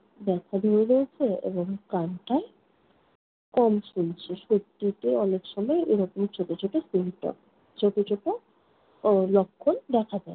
ব্যাথা ধরে রয়েছে এবং কানটায় কম শুনছে। সর্দিতে অনেকসময় এইরকম ছোট ছোট symptom ছোট ছোট উহ লক্ষণ দেখা যায়।